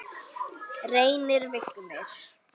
Reynir Vignir.